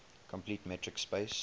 complete metric space